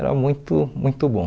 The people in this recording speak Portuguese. Era muito, muito bom.